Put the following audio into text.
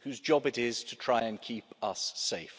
whose job it is to try and keep us safe.